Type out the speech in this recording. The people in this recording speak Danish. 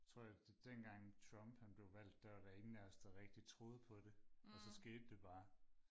jeg tror dengang Trump han blev valgt der var der ingen af os der rigtig troede på det og så skete det bare